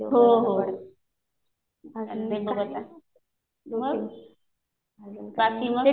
मग हो हो. बघू आता. मग बाकी मग.